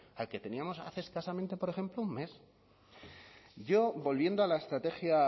al que teníamos hace escasamente por ejemplo un mes yo volviendo a la estrategia